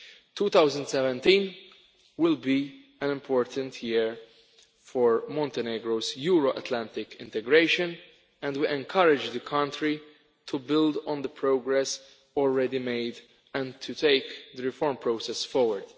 2017 will be an important year for Montenegro's Euro Atlantic integration, and we encourage the country to build on the progress already made and to take the reform process forward.